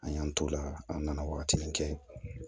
An y'an t'o la an nana wagati min kɛ